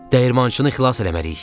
Dəyirmançını xilas eləməliyik!